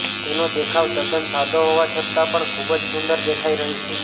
તેનો દેખાવ તદ્દન સાદો હોવા છતાં પણ ખૂબ જ સુંદર દેખાઈ રહી છે